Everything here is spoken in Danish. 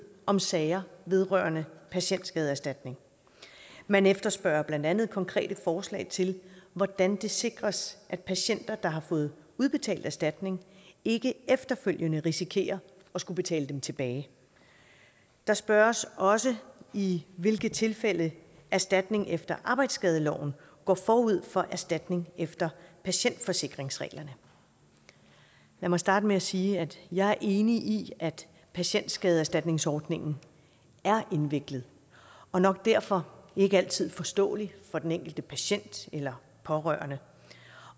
om sager vedrørende patientskadeerstatning man efterspørger blandt andet konkrete forslag til hvordan det sikres at patienter der har fået udbetalt erstatning ikke efterfølgende risikerer at skulle betale den tilbage der spørges også i hvilke tilfælde erstatning efter arbejdsskadeloven går forud for erstatning efter patientforsikringsreglerne lad mig starte med at sige at jeg er enig i at patientskadeerstatningsordningen er indviklet og nok derfor ikke altid forståelig for den enkelte patient eller pårørende